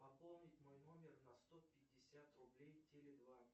пополнить мой номер на сто пятьдесят рублей теле два